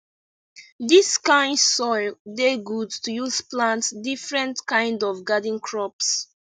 dis kind soil dey good to use plant different kind of garden crops